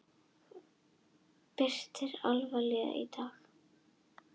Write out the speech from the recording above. Birtir allvíða í dag